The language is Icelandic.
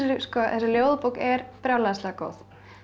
ljóðabók er brjálæðislega góð